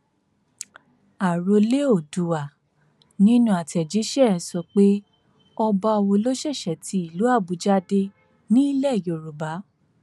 àròlé oòdùà nínú àtẹjíṣẹ ẹ sọ pé ọba wo ló ṣẹṣẹ ti ìlú àbújá dé nílẹ yorùbá